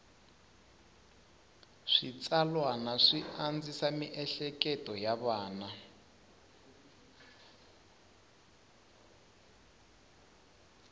switsalwana swi andzisa mieleketo ya vana